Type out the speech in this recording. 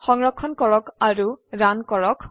সংৰক্ষণ কৰক আৰু ৰান কৰক